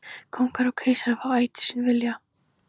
Kóngar og keisarar fá ætíð sinn vilja.